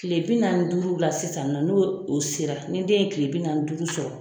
Tile bi naani ni duuru la sisan nin nɔ, n'o o sera. Ni den ye tile bi naani duuru sɔrɔ,